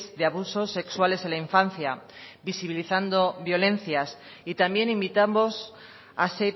de abusos sexuales en la infancia visibilizando violencia y también invitamos a